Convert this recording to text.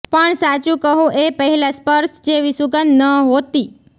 પણ સાચું કહું એ પહેલા સ્પર્શ જેવી સુગંધ નહોતી